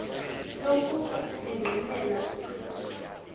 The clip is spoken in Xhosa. yokuba engqinela ukrestu